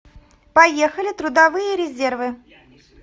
поехали трудовые резервы